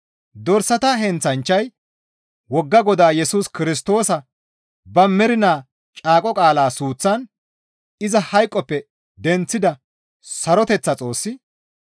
Dorsata heenththanchchay wogga Godaa Yesus Kirstoosa ba mernaa caaqo qaala suuththan iza hayqoppe denththida saroteththa Xoossi,